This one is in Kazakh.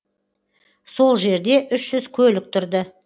сол жерде үш жүз көлік тұрды